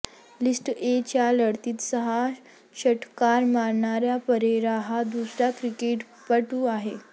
list A च्या लढतीत सहा षटकार मारणारा परेरा हा दुसरा क्रिकेटपटू आहे